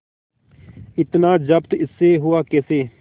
इतना जब्त इससे हुआ कैसे